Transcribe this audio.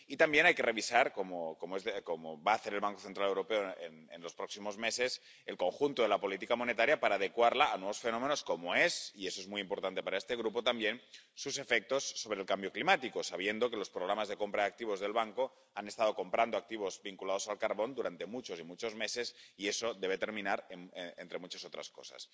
Y también hay que revisar, como va a hacer el Banco Central Europeo en los próximos meses, el conjunto de la política monetaria para adecuarla a nuevos fenómenos como son —y eso es muy importante para este grupo también— sus efectos sobre el cambio climático, sabiendo que los programas de compra de activos del Banco han estado comprando activos vinculados al carbón durante muchos y muchos meses y eso debe terminar, entre muchas otras cosas.